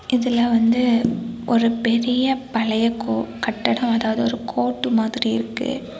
இதுல வந்து ஒரு பெரிய பழைய கோ கட்டடோ அதாவது ஒரு கோர்ட் மாதிரி இருக்கு.